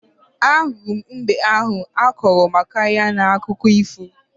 Ahụrụ m mbe ahụ akọrọ maka ya n'akụkọ ifo